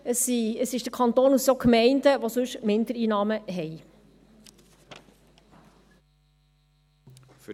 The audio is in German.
Es sind der Kanton und auch die Gemeinde, welche sonst Mindereinnahmen haben.